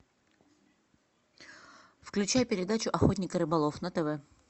включай передачу охотник и рыболов на тв